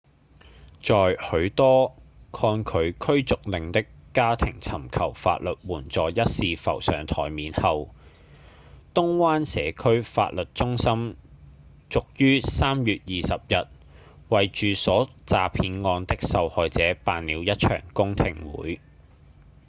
在許多抗拒驅逐令的家庭尋求法律援助一事浮上檯面後東灣社區法律中心遂於3月20日為住所詐騙案的受害者辦了一場公聽會